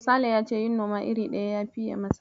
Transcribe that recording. Sale ya ce yin noma iri ɗaya ya fiye masa.